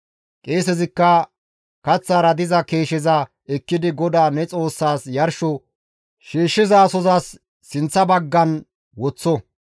Qeesezikka kaththara diza keesheza ekkidi GODAA ne Xoossas yarsho shiishshizasozas sinththa baggan woththo.